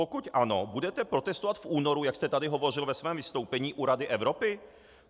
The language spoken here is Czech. Pokud ano, budete protestovat v únoru, jak jste tady hovořil ve svém vystoupení, u Rady Evropy?